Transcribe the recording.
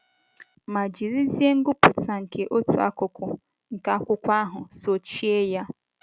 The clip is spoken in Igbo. Ma jirizie ngụpụta nke otu akụkụ nke akwụkwọ ahụ sochie ya!